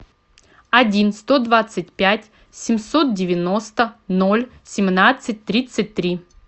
один сто двадцать пять семьсот девяносто ноль семнадцать тридцать три